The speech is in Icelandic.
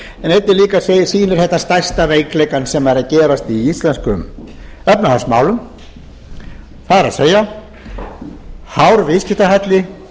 en einnig líka sýnir þetta stærsta veikleikann sem er að gerast í íslenskum efnahagsmálum það er hár viðskiptahalli